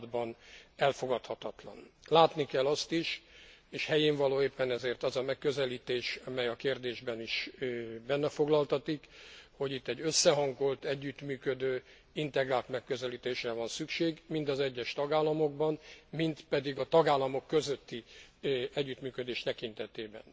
században elfogadhatatlan. Látni kell azt is és helyénvaló éppen ezért az a megközelítés, amely a kérdésben is benne foglaltatik hogy itt összehangolt, együttműködő, integrált megközelítésre van szükség, mind az egyes tagállamokban, mind pedig a tagállamok közötti együttműködés tekintetében.